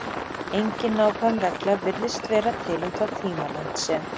Engin nákvæm regla virðist vera til um þá tímalengd sem